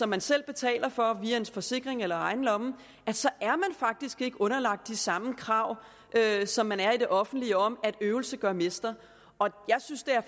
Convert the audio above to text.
man selv betaler for via ens forsikring eller af egen lomme så er man faktisk ikke underlagt de samme krav som man er i det offentlige om at øvelse gør mester jeg synes det er